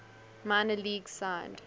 minor leagues signed